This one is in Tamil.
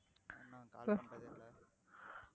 என்ன call பண்றதேயில்லை.